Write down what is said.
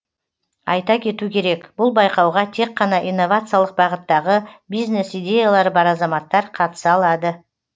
айта кету керек бұл байқауға тек қана инновациялық бағыттағы бизнес идеялары бар азаматтар қатыса алады